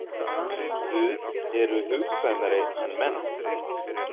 Guð eru hugkvæmari en menn.